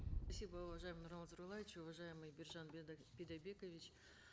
спасибо уважаемый нурлан зайроллаевич уважаемый биржан бидайбекович